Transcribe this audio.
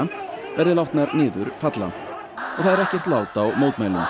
verðir látnar niður falla og það er ekkert lát á mótmælum